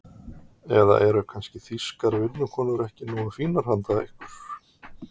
Eða eru kannski þýskar vinnukonur ekki nógu fínar handa ykkur?